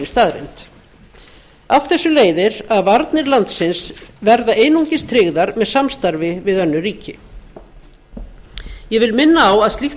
staðreynd af þessu leiðir að varnir landsins verða einungis tryggðar með samstarfi við önnur ríki ég vil minna á að slíkt samstarf